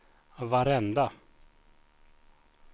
varenda